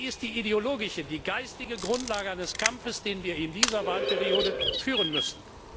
Denn sie ist die ideologische, die geistige Grundlage eines Kampfes, den wir in dieser Wahlperiode führen müssen.